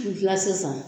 Gila sisan